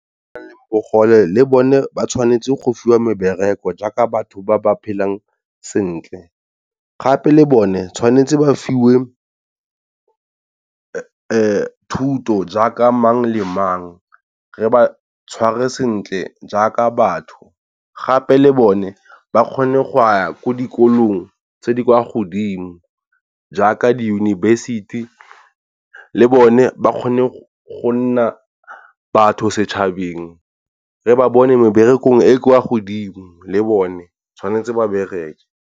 Batho ba bang le bogole le bone ba tshwanetse go fiwa mebereko jaaka batho ba ba phelang sentle. Gape le bone tshwanetse ba fiwe thuto jaaka mang le mang re ba tshware sentle jaaka batho gape le bone ba kgone go ya ko dikolong tse di kwa godimo jaaka diyunibesithi. Le bone ba kgone go nna batho setšhabeng re ba bone meberekong e kwa godimo le bone tshwanetse ba bereke.